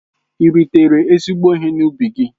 Ị́ ritere ezigbo ihe n'ubi gị?